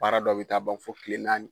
Baara dɔw bi taa ban fɔ kile naani